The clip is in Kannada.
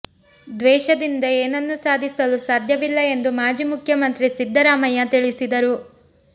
ದ್ವೇಷದಿಂದ ಏನನ್ನೂ ಸಾಧಿಸಲು ಸಾಧ್ಯವಿಲ್ಲ ಎಂದು ಮಾಜಿ ಮುಖ್ಯಮಂತ್ರಿ ಸಿದ್ಧರಾಮಯ್ಯ ತಿಳಿಸಿದರು